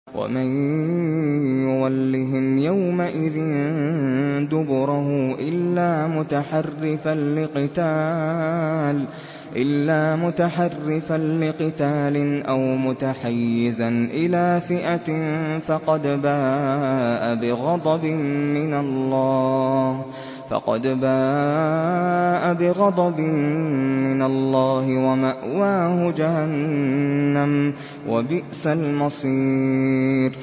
وَمَن يُوَلِّهِمْ يَوْمَئِذٍ دُبُرَهُ إِلَّا مُتَحَرِّفًا لِّقِتَالٍ أَوْ مُتَحَيِّزًا إِلَىٰ فِئَةٍ فَقَدْ بَاءَ بِغَضَبٍ مِّنَ اللَّهِ وَمَأْوَاهُ جَهَنَّمُ ۖ وَبِئْسَ الْمَصِيرُ